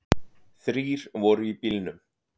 Þrír voru í bílnum.